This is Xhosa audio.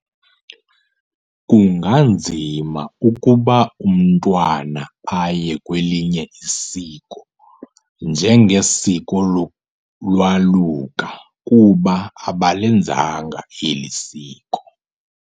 Kunganzima ukuba umntwana aye kwelinye isiko njenge siko lolwaluko ukuba abalenzanga eli siko.